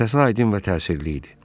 Səsi aydın və təsirli idi.